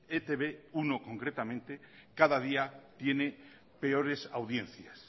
e te be uno concretamente cada día tiene peores audiencias